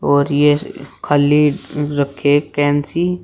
और यह खाली रखे फैंसी।